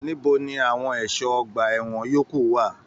Níbo ní àwọn ẹṣọ ọgbà ẹwọn yòókù wà?